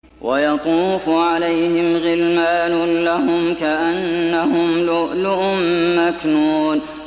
۞ وَيَطُوفُ عَلَيْهِمْ غِلْمَانٌ لَّهُمْ كَأَنَّهُمْ لُؤْلُؤٌ مَّكْنُونٌ